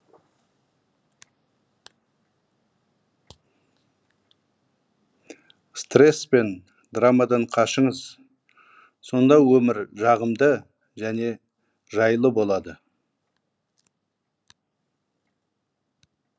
стресс пен драмадан қашыңыз сонда өмір жағымды және жайлы болады